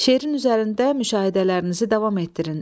Şeirin üzərində müşahidələrinizi davam etdirin.